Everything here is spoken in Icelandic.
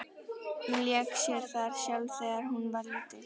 Hún lék sér þar sjálf þegar hún var lítil.